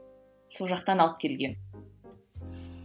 сол жақтан алып келген